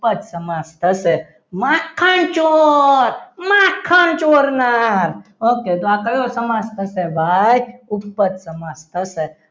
ઉપર સમાજ થશે માખણ ચોર માખણ ચોરનાર okay તો આ કયું સમાજ થશે ભાઈ ઉપર સમાસ થશે.